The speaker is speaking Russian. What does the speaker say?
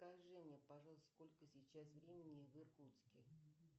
скажи мне пожалуйста сколько сейчас времени в иркутске